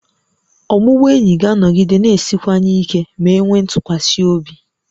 Ọbụbụenyi ga-anọgide na-esiwanye ike ma e nwee ntụkwasị obi